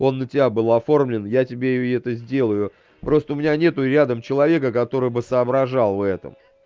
он на тебя был оформлен я тебе и это сделаю просто у меня нет рядом человека который бы соображал в этом